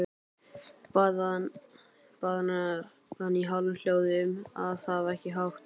Bað hana í hálfum hljóðum að hafa ekki hátt.